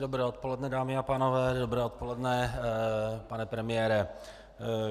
Dobré odpoledne, dámy a pánové, dobré odpoledne, pane premiére.